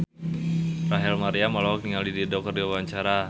Rachel Maryam olohok ningali Dido keur diwawancara